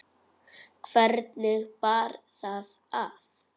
Hvernig bar það að?